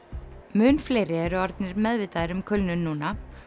mun fleiri eru orðnir meðvitaðir um kulnun núna